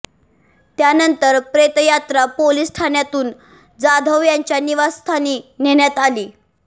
त्यानंतर प्रेतयात्रा पोलीस ठाण्यातून जाधव यांच्या निवासस्थानी नेण्यात आली